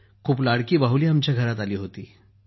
खूप लाडकी बाहुली आमच्या घरात आली होती